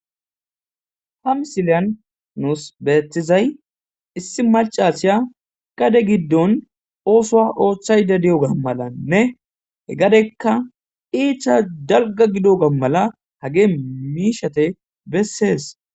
ha misiliyan nuus beetizay issi malc aasiya qade giddon oosoa ooththay dadiyoga malanne he gadekka iicha dalga gido ga mala hagee miishate bessees